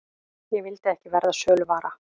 Ég vildi ekki verða söluvara.